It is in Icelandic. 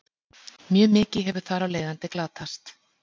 Mjög mikið hefur þar af leiðandi glatast.